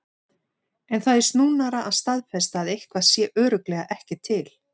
En það er snúnara að staðfesta að eitthvað sé örugglega ekki til.